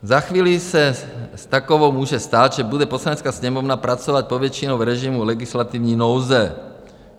Za chvíli se s takovou může stát, že bude Poslanecká sněmovna pracovat povětšinou v režimu legislativní nouze.